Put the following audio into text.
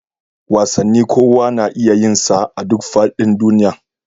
Wasanni kowa na iya yinsa a duk faɗin duniya